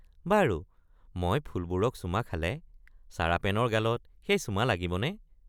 বাৰু মই ফুলবোৰক চুমা খালে চাৰাপেনৰ গালত সেই চুমা লাগিবনে?